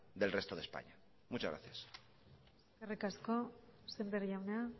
del resto de españa muchas gracias eskerrik asko sémper jauna